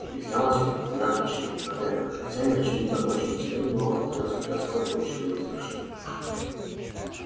объяснялось это двумя причинами во первых хозяин очевидно очень ценил его во вторых судья скотт был человек сдержанный